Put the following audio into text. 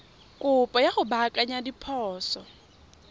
kopo ya go baakanya diphoso